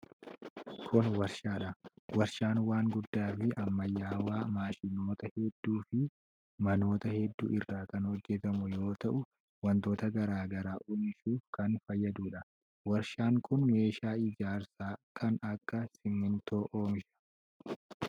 Kun warshaa dha. Warshaan waan guddaa fi ammayyawaa maashinoota hedduu fi manoota hedduu irraa kan hojjatamu yoo ta'u, wantoota garaa garaa oomishuuf kan fayyaduu dha. Warshaan kun meeshaa ijaarsaa kan akka simiintoo oomisha.